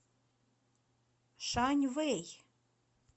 шаньвэй